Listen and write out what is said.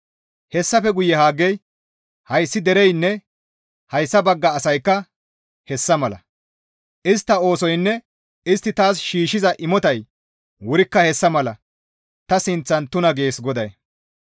Hessafe guye Haggey, « ‹Hayssi dereynne hayssa bagga asaykka hessa mala; istta oosoynne istti taas shiishshiza imotay wurikka hessa mala ta sinththan tuna› gees GODAY.